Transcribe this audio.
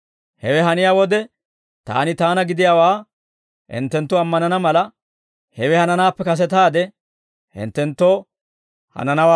Hewe haniyaa wode Taani Taana gidiyaawaa hinttenttu ammanana mala, hewe hananaappe kasetaade hinttenttoo hananawaa oday.